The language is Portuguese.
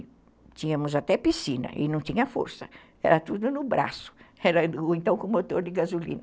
E tínhamos até piscina e não tinha força, era tudo no braço, ou então com motor de gasolina.